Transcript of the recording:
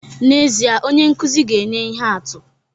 N'ezie, onye nkụzi ga-enye ihe atụ